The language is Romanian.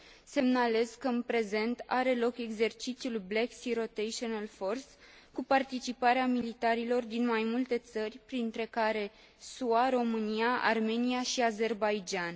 Semnalez că în prezent are loc exercițiul Black Sea Rotational Force cu participarea militarilor din mai multe țări, printre care SUA, România, Armenia și Azerbaidjan.